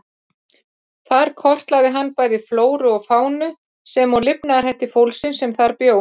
Þar kortlagði hann bæði flóru og fánu, sem og lifnaðarhætti fólksins sem þar bjó.